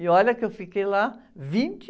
E olha que eu fiquei lá vinte